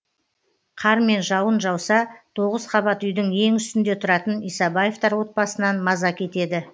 қар мен жауын жауса тоғыз қабат үйдің ең үстінде тұратын исабаевтар отбасынан маза кетеді